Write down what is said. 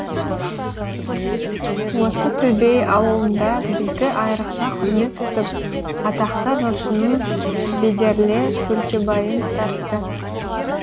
осы төбей ауылында бізді айрықша құрмет тұтып атақты жыршының бедерлі сөлкебайын тартты